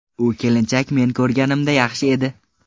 U kelinchak men ko‘rganimda yaxshi edi.